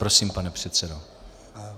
Prosím, pane předsedo.